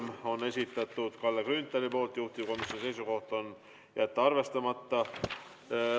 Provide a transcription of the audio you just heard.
Selle on esitanud Kalle Grünthal, juhtivkomisjoni seisukoht: jätta arvestamata.